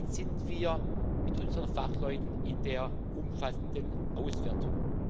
Jetzt sind wir mit unseren Fachleuten in der umfassenden Auswertung.